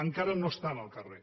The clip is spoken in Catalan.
encara no estan al carrer